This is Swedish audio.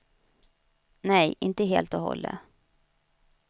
Nej, inte helt och hållet.